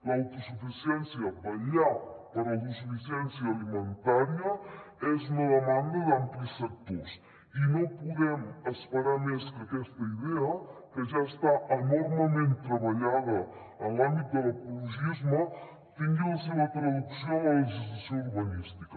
l’autosuficiència vetllar per l’autosuficiència alimentària és una demanda d’amplis sectors i no podem esperar més que aquesta idea que ja està enormement treballada en l’àmbit de l’ecologisme tingui la seva traducció en la legislació urbanística